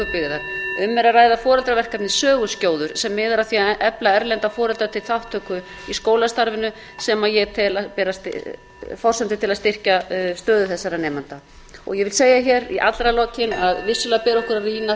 verkefni dalvíkurbyggðar um er að ræða foreldraverkefnið söguskjóður sem miðar að því að efla erlenda foreldra til þátttöku í skólastarfinu sem ég tel forsendu til að styrkja stöðu þessara nemenda ég vil segja hér í allra lokin að vissulega ber okkur að rýna